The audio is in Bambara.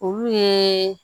Olu ye